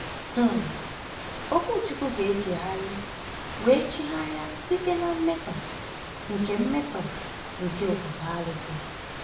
um Okwuchukwu ga-echegharị wee chigharịa site na mmetọ nke mmetọ nke ofufe arụsị?